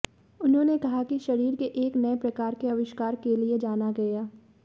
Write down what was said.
उन्होंने कहा कि शरीर के एक नए प्रकार के आविष्कार के लिए जाना गया